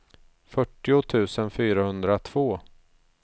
fyrtio tusen fyrahundratvå